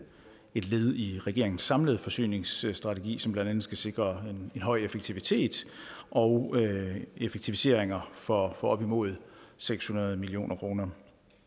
et led i regeringens samlede forsyningsstrategi som blandt andet skal sikre en høj effektivitet og effektiviseringer for op imod seks hundrede million kroner